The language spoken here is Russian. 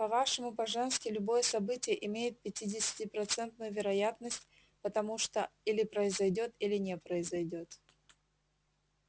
по-вашему по-женски любое событие имеет пятидесятипроцентную вероятность потому что или произойдёт или не произойдёт